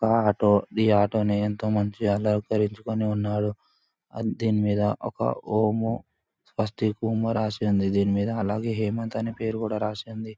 ఒక ఆటో ఈ ఆటో ని ఎంతో మంచి అలంకరించుకుని ఉన్నాడు. ఆ దీని మీద ఒక ఓము ఫర్స్ట్ రాసుంది. దీని మీద అలాగే హేమంత్ అని పేరు కూడా రాసి ఉంది.